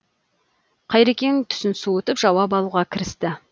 қайрекең түсін суытып жауап алуға кірісті